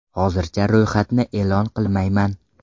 Hozircha ro‘yxatni e’lon qilmayman.